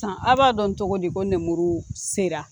Tan a b'a dɔn togo di ko nemuru sera